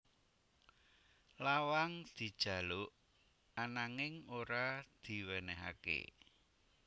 Lawang dijaluk ananging ora diwènèhaké